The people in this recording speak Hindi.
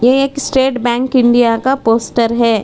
एक स्टेट बैंक इंडिया का पोस्टर है।